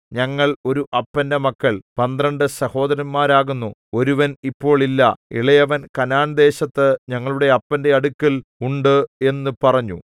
ഞങ്ങൾ ഒരു അപ്പന്റെ മക്കൾ പന്ത്രണ്ട് സഹോദരന്മാരാകുന്നു ഒരുവൻ ഇപ്പോൾ ഇല്ല ഇളയവൻ കനാൻദേശത്ത് ഞങ്ങളുടെ അപ്പന്റെ അടുക്കൽ ഉണ്ട് എന്നു പറഞ്ഞു